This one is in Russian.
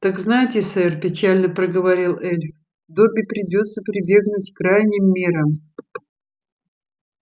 так знайте сэр печально проговорил эльф добби придётся прибегнуть к крайним мерам